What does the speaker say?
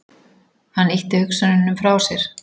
Hann ýtti hugsununum frá sér.